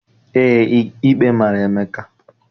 Eé, ikpe mara Emeka.